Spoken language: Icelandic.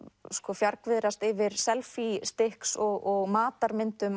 fjargviðrast yfir selfístiks og